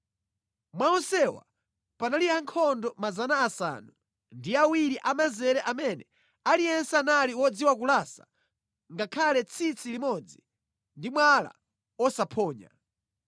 Mwa onsewa panali ankhondo 70 amanzere amene aliyense anali wodziwa kulasa ngakhale tsitsi limodzi ndi mwala osaphonya.